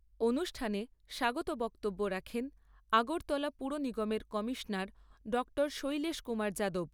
অনুষ্ঠানে স্বাগত বক্তব্য রাখেন আগরতলা পুরনিগমের কমিশনার ড শৈলেশ কুমার যাদব।